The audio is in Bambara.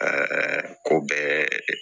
ko bɛɛ